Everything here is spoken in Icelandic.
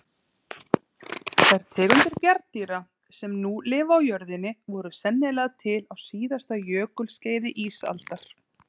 Þær tegundir bjarndýra sem nú lifa á jörðinni voru sennilega til á síðasta jökulskeiði ísaldar.